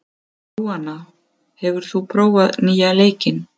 Jóanna, hefur þú prófað nýja leikinn?